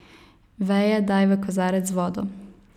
Veje daj v kozarec z vodo.